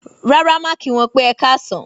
Rárá má kí wọn pè ẹkasan.